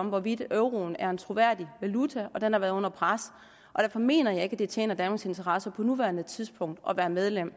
om hvorvidt euroen er en troværdig valuta og den har været under pres og derfor mener jeg ikke at det tjener danmarks interesser på nuværende tidspunkt at være medlem